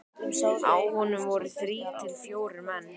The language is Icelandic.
Á honum voru þrír til fjórir menn.